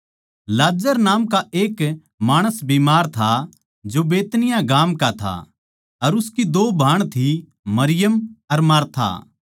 लाजर नामका एक माणस बीमार था जो बैतनिय्याह गाम का था अर उसकी दो भाण थी मरियम अर मार्था